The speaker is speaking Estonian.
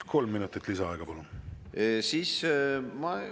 Kolm minutit lisaaega, palun!